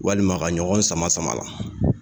Walima ka ɲɔgɔn sama sama a la